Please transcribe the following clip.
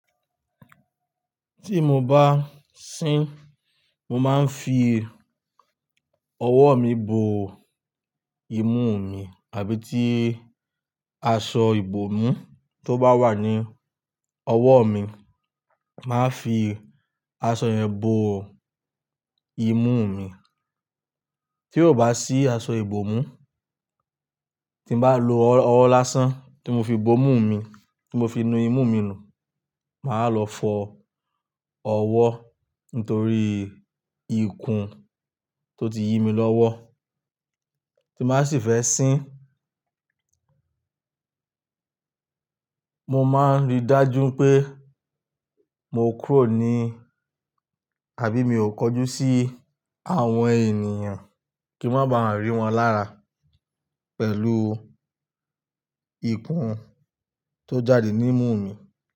Tí mo bá sín mo máa ń fi ọwọ́ mi bo imú mi àbí tí aṣọ ibòmú tó bá wà ní ọwọ́ mi, màá fi aṣọ yẹn bo imú mi. Tí ò bá sí aṣọ ibòmú, tí n bá lo ọwọ́ lásán tí mo fi bo imú mi, tí mo fi nu imú mi nù, màá lọ fọ ọwọ́ nítorí ikùn tó ti yí mi lọ́wọ́ tí bàá sì fẹ́ sín. Mo máa ń rí dájú pé mo kúrò ní àbí mi ò kọjú sí àwọn ènìyàn kí n máa ba à rí wọn lára pẹ̀lú ikùn tó jáde ní imú mi.